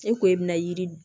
E ko e bɛna yiri